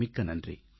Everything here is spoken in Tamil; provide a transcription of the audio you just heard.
மிக்க நன்றி